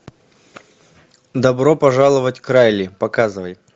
добро пожаловать к райли показывай